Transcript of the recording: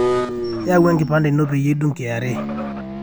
yaau enkipande ino peyie idung kra